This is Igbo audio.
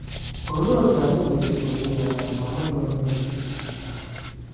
Olee otú anyị ga-esi were ya na o nweghị Onye Okike?